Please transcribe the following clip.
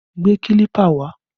Gbé kílípà wá!